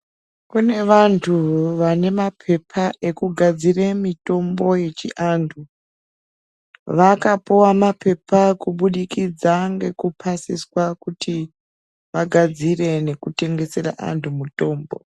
Kune vantu vanemapepa ekugadzire mitombo yechiantu , vakapuwa mapepa kubudikidza ngekupasiswa kuti vagadzire nekutengesera antu mutombo.